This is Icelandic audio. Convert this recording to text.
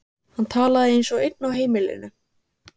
Hann talaði eins og einn á heimilinu.